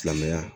Silamɛya